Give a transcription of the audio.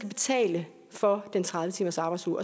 betale for den tredive timersarbejdsuge